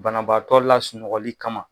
Banabaatɔ lasunɔgɔli kama